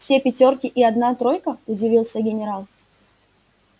все пятёрки и одна тройка удивился генерал